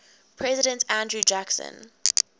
president andrew jackson